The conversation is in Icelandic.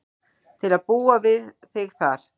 Til að búa við þig þar.